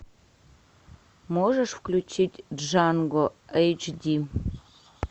можешь включить джанго эйч ди